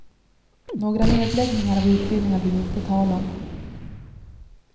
Några nedläggningar av utbildningar blir det inte tal om.